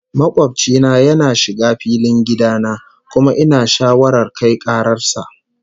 Makobci na yana shiga filin gida na, kuma ina shawarar kai karar sa